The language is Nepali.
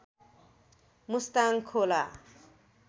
मुस्ताङ खोला